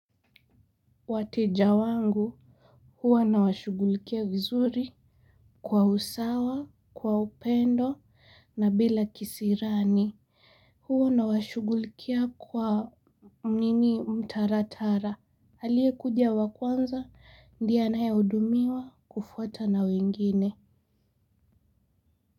Wateja wangu huwa nawashughulikia vizuri kwa usawa, kwa upendo na bila kisirani huwa nawashughulikia kwa nini mtaratara aliyekuja wa kwanza ndiye anayehudumiwa kufuatwa na wengine.